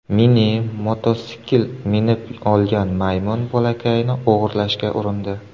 Mini-mototsikl minib olgan maymun bolakayni o‘g‘irlashga urindi.